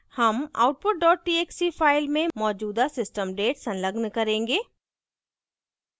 हम output dot txt file में मौजूदा system date संलग्न करेंगे